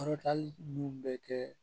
Kɔrɔta hali n'u bɛ kɛ